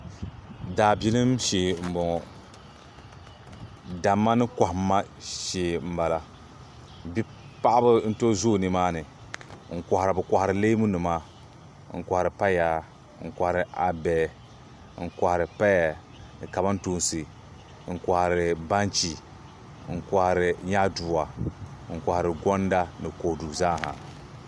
daabilim shee m-bɔŋɔ damma ni kɔhimma shee m-bala paɣiba n-tooi zoogi ni maani bɛ kɔhiri neemunima n-kɔhiri paya n-kɔhiri abe n-kɔhiri paya ni kamantoosi n-kɔhiri banchi n-kɔhiri nyaadua n-kɔhiri gɔnda ni kodu zaasa